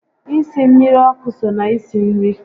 Isi mmiri ọkụ so na isi nri